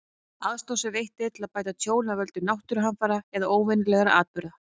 Aðstoð sem veitt er til að bæta tjón af völdum náttúruhamfara eða óvenjulegra atburða.